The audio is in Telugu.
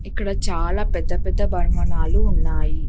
ఇక్కడ చాలా పెద్ద పెద్దలు భావనాలు ఉన్నాయి.